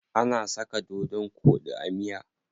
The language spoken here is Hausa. Ana saka dodon koɗi a miya.